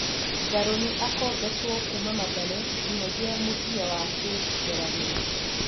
Ngarũ nĩ akombetwo kuma Mathare nginyagia mũthia wa kĩ mera gĩ kĩ .